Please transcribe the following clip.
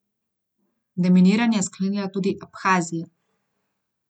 Deminiranje je sklenila tudi Abhazija.